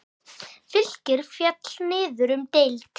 Fylkir féll niður um deild.